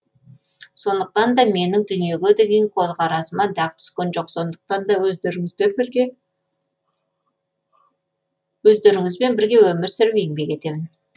сондықтан да менің дүниеге деген көзқарасыма дақ түскен жоқ сондықтан да өздеріңмен бірге өмір сүріп еңбек етемін